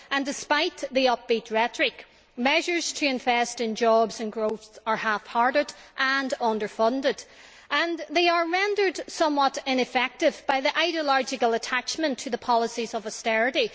Despite the upbeat rhetoric, measures to invest in jobs and growth are half hearted and under funded, and are rendered somewhat ineffective by the ideological attachment to the policies of austerity.